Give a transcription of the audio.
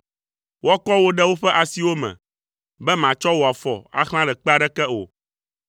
Woakɔ wò ɖe woƒe asiwo me, be màtsɔ wò afɔ axlã ɖe kpe aɖeke o.